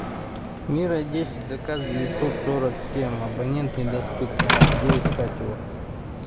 мира десять заказ девятьсот сорок семь абонент недоступен где искать его